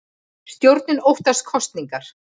Stjórnin óttast kosningar